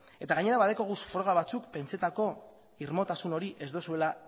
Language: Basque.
eta gainera baditugu froga batzuk pentzetako irmotasun hori ez duzuela